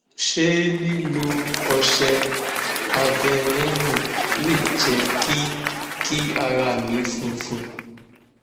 ṣé lilo ose aveeno le je ki kí ara mi funfun